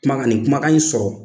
Kumakan nin kumakan in sɔrɔ